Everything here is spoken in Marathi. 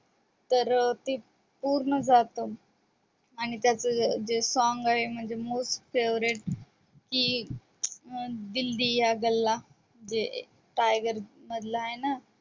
तर ते पूर्ण जातात आणि त्याच्या जे song आहे म्हणजे most favorite जे दिल दिया गल्ला जे टायगर मधल आहे ना